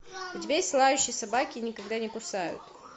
у тебя есть лающие собаки никогда не кусают